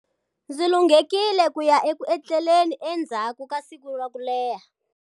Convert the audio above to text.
Ndzi lunghekile ku ya eku etleleni endzhaku ka siku ro leha.